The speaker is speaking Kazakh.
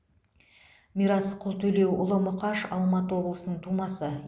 мирас құлтөлеуұлы мұқаш алматы облысының тумасы